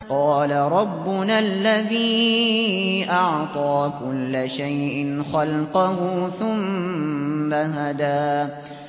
قَالَ رَبُّنَا الَّذِي أَعْطَىٰ كُلَّ شَيْءٍ خَلْقَهُ ثُمَّ هَدَىٰ